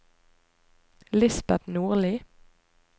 Lisbeth Nordli